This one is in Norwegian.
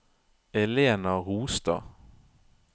Elena Rostad